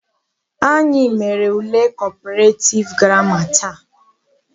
Anyị mere ule Comparative grammar taa.